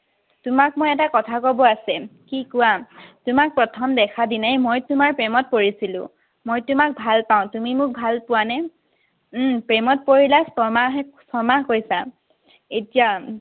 তোমাক মই এটা কথা কব আছে। কি কোৱা। তোমাক প্ৰথম দেখা দিনাই মই তোমাৰ প্ৰেমত পৰিছিলো। মই তোমাক ভাল পাওঁ, তুমি মোক ভাল পোৱানে? উম প্ৰেমত পৰিলা ছমাহ ছমাহ, কৈছা এতিয়া?